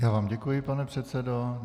Já vám děkuji, pane předsedo.